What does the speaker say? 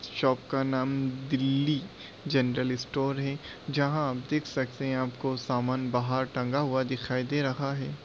Shop का नाम Delhi general store है जहां आप देख सकते है आपको समान बाहर टंगा हुआ दिखाई दे रहा है।